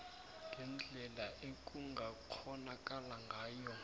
ngendlela ekungakghonakala ngayo